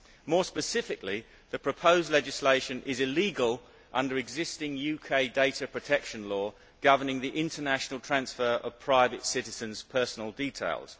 More specifically, the proposed legislation is illegal under existing UK data protection law governing the international transfer of private citizens' personal details.